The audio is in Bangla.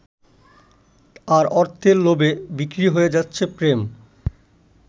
আর অর্থের লোভে বিক্রি হয়ে যাচ্ছে প্রেম।